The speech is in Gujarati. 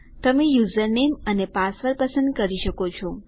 તમે યુઝરનેમ અને પાસવર્ડ પસંદ કરી શકો છો